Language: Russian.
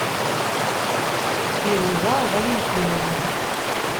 фируза валентиновна